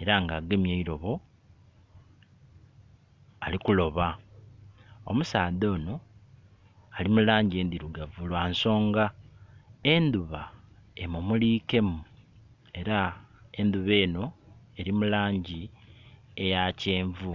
era nga agemye eirobo ali kuloba. Omusaadha ono ali mulangi ndhirugavu lwa nsonga endhuba emumulikemu era endhuba eno eri mu langi eya kyenvu.